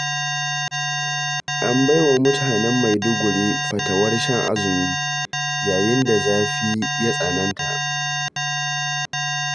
An baiwa mutanen Maiduguri fatawar shan azumi, yayin da zafi ya tsananta.